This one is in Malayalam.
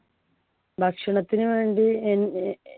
ഭക്ഷണത്തിനു വേണ്ടി എൻ ന്നെ